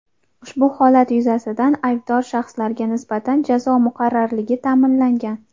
Ushbu holat yuzasidan aybdor shaxslarga nisbatan jazo muqarrarligi ta’minlangan.